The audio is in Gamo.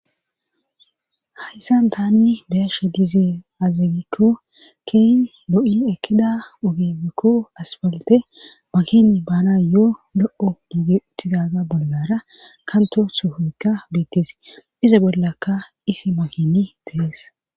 hayssan tanni beyashe dizee azigikko keyn lo7i ekkida ogeebekko asbalte makini bana yo7o lo7o diigi utidaga bollara kanto suhoykka beettees iza bollaka isi makini deees